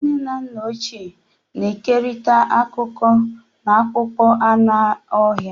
Ndị nne na nna ochie na-ekerịta akụkọ n'akpụkpọ anụ ọhịa.